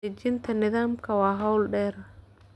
Dejinta nidaamka waa hawl dheer.